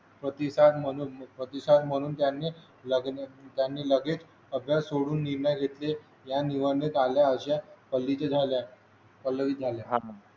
प्रतिसाद म्हणून प्रतिसाद म्हणून त्यांनी लग्न त्याने लगेच अभ्यास सोडून निर्णय घेतले या निवडणुकीत आल्याच्या पगडीचे झाल्या पल्लवी झाल्या